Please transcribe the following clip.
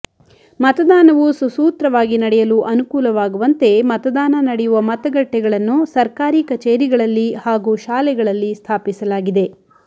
ಮತದಾನವು ಸುಸೂತ್ರವಾಗಿ ನಡೆಯಲು ಅನುಕೂಲವಾಗುವಂತೆ ಮತದಾನ ನಡೆಯುವ ಮತಗಟ್ಟೆಗಳನ್ನು ಸರ್ಕಾರಿ ಕಚೇರಿಗಳಲ್ಲಿ ಹಾಗೂ ಶಾಲೆಗಳಲ್ಲಿ ಸ್ಥಾಪಿಸಲಾಗಿದೆ